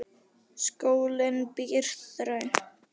Skólinn býr þröngt.